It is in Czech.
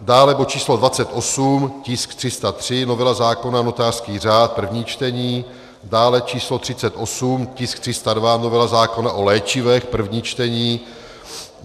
dále bod číslo 28, tisk 303, novela zákona notářský řád, první čtení; dále číslo 38, tisk 302, novela zákona o léčivech, první čtení;